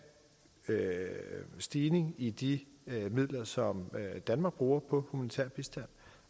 stigning i de midler som danmark bruger på humanitær bistand